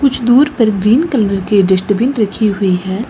कुछ दूर पर ग्रीन कलर के डस्टबिन रखी हुई है।